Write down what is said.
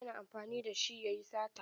Yana amfani da shi ya yi sata.